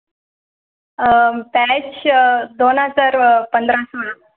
अं batch अं दोन हजार पंधरा सोळा